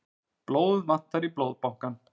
Blóð vantar í Blóðbankann